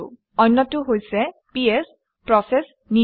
অন্যটো হৈছে PS process নিজেই